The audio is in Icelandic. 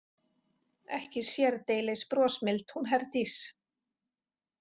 Ekki sérdeilis brosmild hún Herdís.